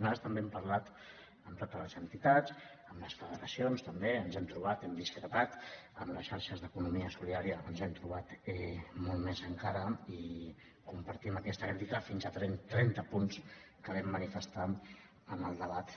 nosaltres també hem parlat amb totes les entitats amb les federacions també ens hem trobat hem discrepat amb les xarxes d’economia solidària ens hem trobat molt més encara i compartim aquesta crítica fins a trenta punts que vam manifestar en el debat